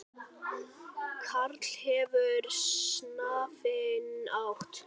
Karl hefur stafinn átt.